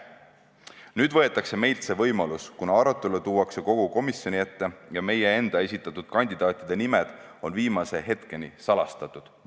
Nüüd võetakse meilt see võimalus, kuna arutelu tuuakse kogu komisjoni ette ja meie enda esitatud kandidaatide nimed on viimase hetkeni salastatud.